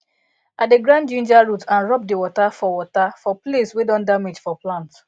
i dey grind ginger root and rub the water for water for place wey don damage for plant